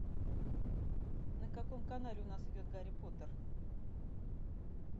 на каком канале у нас идет гарри поттер